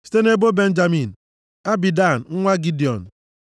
site nʼebo Benjamin, Abidan nwa Gidiọn